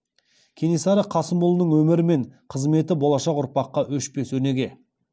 кенесары қасымұлының өмірі мен қызметі болашақ ұрпаққа өшпес өнеге